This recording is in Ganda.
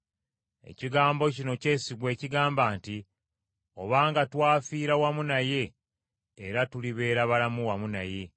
Ekigambo kino kyesigwa ekigamba nti: “Obanga twafiira wamu naye, era tulibeera balamu wamu naye.